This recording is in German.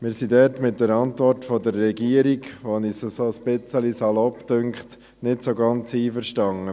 Wir sind diesbezüglich mit der Antwort der Regierung, die wir als ein wenig salopp empfinden, nicht so ganz einverstanden.